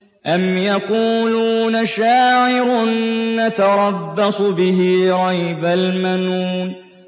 أَمْ يَقُولُونَ شَاعِرٌ نَّتَرَبَّصُ بِهِ رَيْبَ الْمَنُونِ